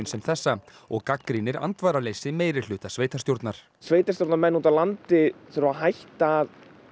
sem þessa og gagnrýnir andvaraleysi meirihluta sveitarstjórnar sveitarstjórnarmenn úti á landi verða að hætta